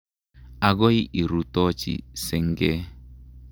Akoi irutochi senge.